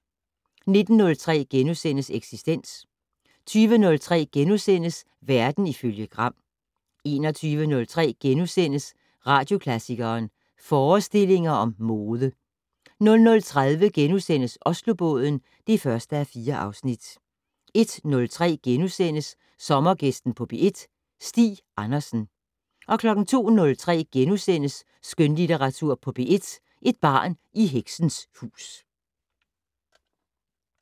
19:03: Eksistens * 20:03: Verden ifølge Gram * 21:03: Radioklassikeren: Forestillinger om mode * 00:30: Oslobåden (1:4)* 01:03: Sommergæsten på P1: Stig Andersen * 02:03: Skønlitteratur på P1: Et barn i heksens hus *